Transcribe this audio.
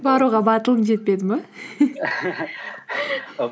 баруға батылың жетпеді ме